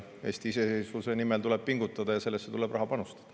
Eesti iseseisvuse nimel tuleb pingutada ja sellesse tuleb raha panustada.